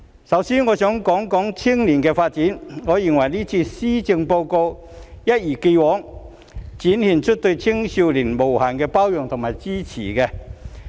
首先，我想談談青少年的發展，我認為這份施政報告一如既往地展現出對青少年的無限包容及支持。